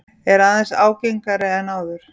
Er aðeins ágengari en áður.